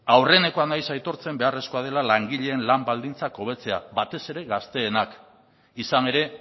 aurrenekoa naiz aitortzen beharrezkoa dela langileen lan baldintzak hobetzea batez ere gazteenak izan ere